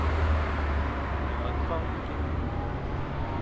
Þannig að hvað á ég að gera?